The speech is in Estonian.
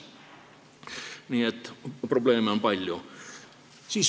Nii et probleeme on palju.